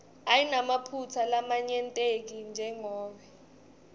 ayinamaphutsa lamanyenti jengobe